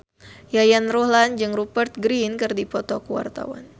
Yayan Ruhlan jeung Rupert Grin keur dipoto ku wartawan